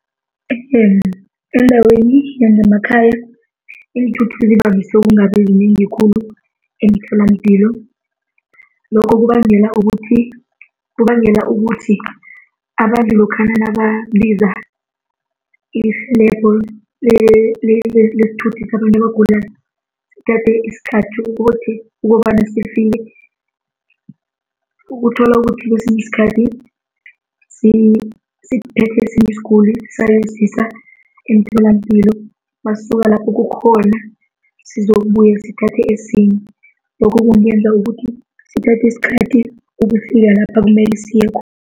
eendaweni yangemakhaya, iinthuthi zivamise ukungabi zinengi khulu emtholapilo. Lokho kubangela ukuthi, kubangela ukuthi abantu lokhana nababiza irhelebho lesithuthi sabantu abagulako sithathe isikhathi ukuthi, ukobana sifike. Ukuthola ukuthi kwesinye isikhathi, sithethe esinye isiguli sayosisa emtholapilo masisuka lapho kukhona sizokubuya sithathe esinye. Lokho kungenza ukuthi sithathe isikhathi ukufika lapha kumele siye khona.